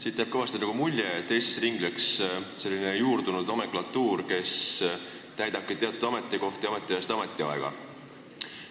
Siit jääb kõvasti mulje, nagu ringleks Eestis selline juurdunud nomenklatuur, kuhu kuuluvad inimesed täidavad teatud ametikohti ametiajast ametiaega.